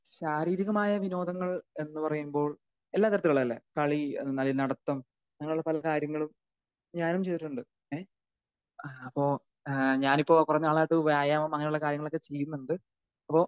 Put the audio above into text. ശാരീരികമായ വിനോദങ്ങൾ എന്ന് പറയുമ്പോൾ എല്ലാ തരത്തിലുള്ളല്ലേ കളി അതെ മാരി നടത്തം അങ്ങനെ ഉള്ള പല കാര്യങ്ങളും ഞാനും ചെയ്തിട്ടുണ്ട്. ഏഹ് അപ്പൊ ഏഹ് ഞാൻ ഇപ്പൊ കുറെ നാളായിട്ട് വ്യായാമം അങ്ങനെ ഉള്ള കാര്യങ്ങളൊക്കെ ചെയ്യുന്നുണ്ട്. അപ്പൊ